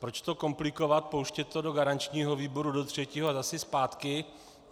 Proč to komplikovat, pouštět to do garančního výboru do třetího a zase zpátky?